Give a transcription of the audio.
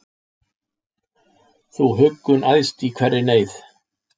Þú huggun æðst í hverri neyð,